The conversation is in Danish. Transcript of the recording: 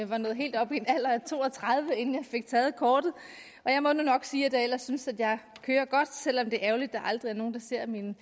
var nået helt op i en alder af to og tredive inden jeg fik taget kortet og jeg må nu nok sige at jeg ellers synes at jeg kører godt selv om det er ærgerligt at der aldrig er nogen der ser mine